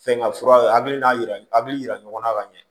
Fɛn ŋa fura a hakili n'a yira hakili yira ɲɔgɔn na ka ɲɛ